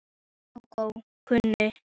Kókó kunni aftur á móti mjög vel við sig.